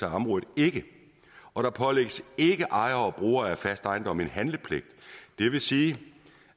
området ikke og der pålægges ikke ejere og brugere af fast ejendom en handlepligt det vil sige